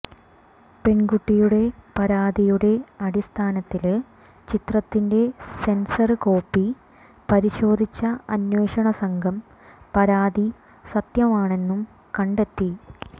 പെണ്കുട്ടിയുടെ പരാതിയുടെ അടിസ്ഥാനത്തില് ചിത്രത്തിന്റെ സെന്സര് കോപ്പി പരിശോധിച്ച അന്വേഷണസംഘം പരാതി സത്യമാണെന്നും കണ്ടെത്തി